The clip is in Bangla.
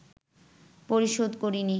পরিশোধ করেনি